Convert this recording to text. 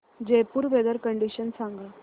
Jaipur weather condition सांगा